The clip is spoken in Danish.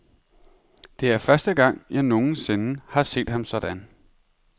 Det er første gang, jeg nogensinde har set ham sådan.